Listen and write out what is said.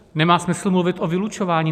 Nemá smysl mluvit o vylučování.